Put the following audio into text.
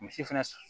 Misi fɛnɛ